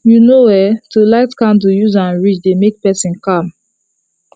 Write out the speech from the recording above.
you know[um]to ligh candle useam read dey make person calm